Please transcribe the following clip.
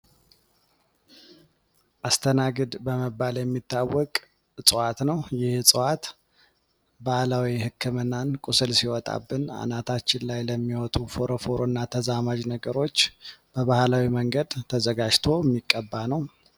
አስተናግድ በመባል የሚታወቅ እፅዋት ነው። ይህ እፅዋት ባህላዊ ህክምናን ቁስል ሲወጣብን ፣አናታችን ላይ የሚወጡ ፎረፎር እና ተዛማጅ ነገር በባህላዊ መንገድ ተዘጋጅቶ የሚቀባ ነው።